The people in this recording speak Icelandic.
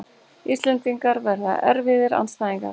Íslendingar verða erfiðir andstæðingar